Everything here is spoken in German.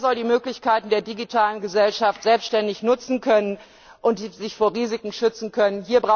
Jeder soll die Möglichkeiten der digitalen Gesellschaft selbständig nutzen können und sich vor Risiken schützen können.